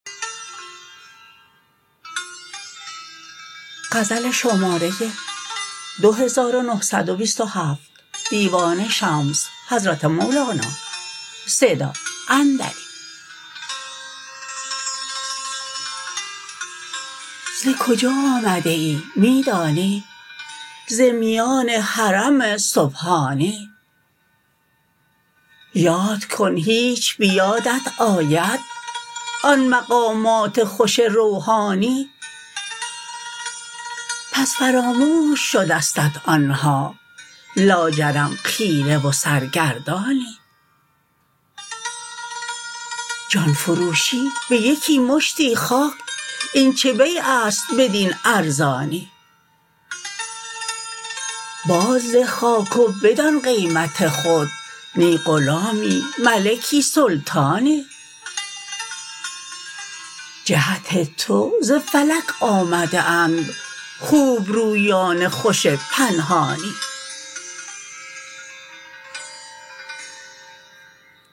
ز کجا آمده ای می دانی ز میان حرم سبحانی یاد کن هیچ به یادت آید آن مقامات خوش روحانی پس فراموش شدستت آن ها لاجرم خیره و سرگردانی جان فروشی به یکی مشتی خاک این چه بیع است بدین ارزانی بازده خاک و بدان قیمت خود نی غلامی ملکی سلطانی جهت تو ز فلک آمده اند خوبرویان خوش پنهانی